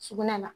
Sugunɛ la